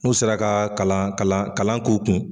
N'u sera ka kalan kalan k'u kun